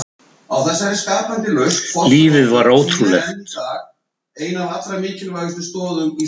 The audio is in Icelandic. Lífið var ótrúlegt.